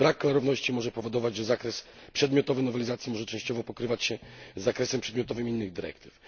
Co więcej, brak klarowności może powodować, że zakres przedmiotowy nowelizacji może częściowo pokrywać się z zakresem przedmiotowym innych dyrektyw.